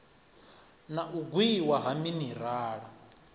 na u gwiwa ha minirala